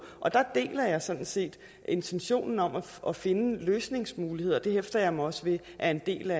og der deler jeg sådan set intentionen om at finde løsningsmuligheder og det hæfter jeg mig også ved er en del